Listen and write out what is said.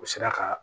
U sera ka